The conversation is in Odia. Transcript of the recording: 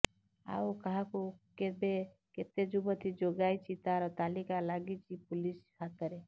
ଆଉ କାହାକୁ କେବେ କେତେ ଯୁବତୀ ଯୋଗାଇଛି ତାର ତାଲିକା ଲାଗିଛି ପୁଲିସ ହାତରେ